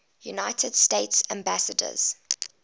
united states ambassadors